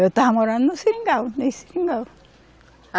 Eu estava morando no seringal, nesse seringal.